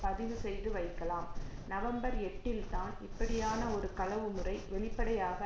பதிவுசெய்துவைக்கலாம் November எட்டில் தான் இப்படியான ஒரு களவுமுறை வெளிப்படையாக